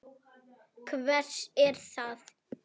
Hvert er það?